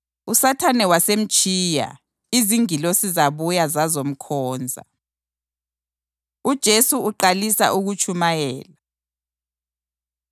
USathane wasemtshiya, izingilosi zabuya zazomkhonza. UJesu Uqalisa Ukutshumayela